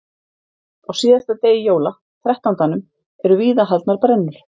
Á síðasta degi jóla, Þrettándanum, eru víða haldnar brennur.